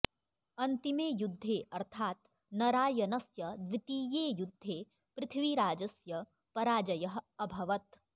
अन्तिमे युद्धे अर्थात् नरायनस्य द्वितीये युद्धे पृथ्वीराजस्य पराजयः अभवत्